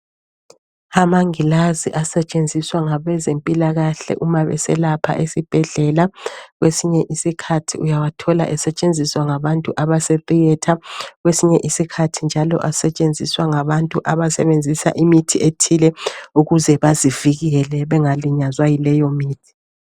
Amangilazi asetshenziswa ngabezempilakahle uma beselapha esibhedlela. Kwesinye isikhathi uyathola esetshenziswa ngabantu abase theatre, kwesinye isikhathi njalo asetshenziswa ngabantu abasebenzisa imithi ethile ukuze bazivikele bengalinyazwa yileyo mithi.